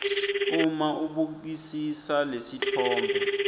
uma ubukisisa lesitfombe